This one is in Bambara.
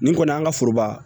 Nin kɔni an ka foroba